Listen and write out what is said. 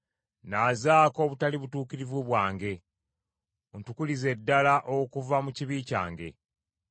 Nnaazaako obutali butuukirivu bwange, ontukulize ddala okuva mu kibi kyange.